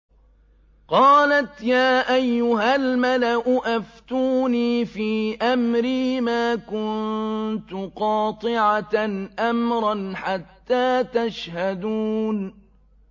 قَالَتْ يَا أَيُّهَا الْمَلَأُ أَفْتُونِي فِي أَمْرِي مَا كُنتُ قَاطِعَةً أَمْرًا حَتَّىٰ تَشْهَدُونِ